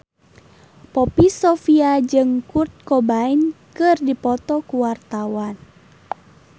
Poppy Sovia jeung Kurt Cobain keur dipoto ku wartawan